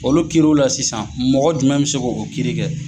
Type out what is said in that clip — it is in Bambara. Olu kiiriw la sisan mɔgɔ jumɛn bɛ se k'o kiiri kɛ.